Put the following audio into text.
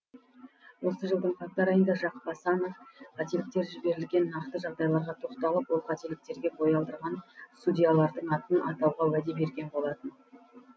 осы жылдың қаңтар айында жақып асанов қателіктер жіберілген нақты жағдайларға тоқталып ол қателіктерге бой алдырған судьялардың атын атауға уәде берген болатын